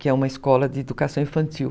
que é uma escola de educação infantil.